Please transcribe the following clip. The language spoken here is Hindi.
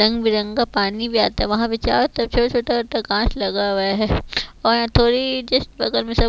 रंग बिरंगी पानी भी आता है वहां पे चारो छोटा छोटा कांच लगा हुआ है और थोड़ी जिस प्रकार में सब--